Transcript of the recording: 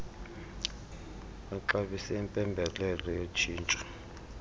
baxabise impembelelo yotshintsho